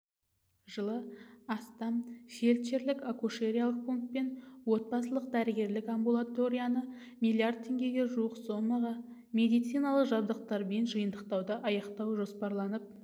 жылы астам фельдшерлік-акушериялық пункт пен отбасылық-дәрігерлік амбулаторияны миллиард теңгеге жуық сомаға медициналық жабдықпен жиынтықтауды аяқтау жоспарланып